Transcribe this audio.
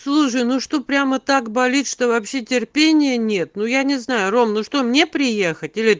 слушай ну что прямо так болит что вообще терпения нет но я не знаю ровно что мне приехать